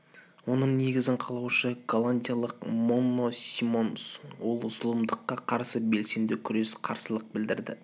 оның негізін қалаушы голландиялық монно симонс ол зұлымдыққа қарсы белсенді күреске қарсылық білдірді